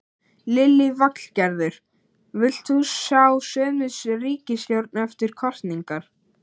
Lillý Valgerður: Vilt þú sjá sömu ríkisstjórn eftir kosningar?